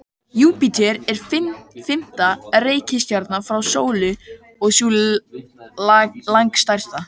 Júpíter er fimmta reikistjarnan frá sólu og sú langstærsta.